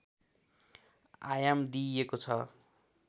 आयाम दिइएको छ